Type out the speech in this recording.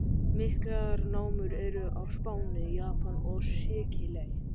Miklar námur eru á Spáni, í Japan og á Sikiley.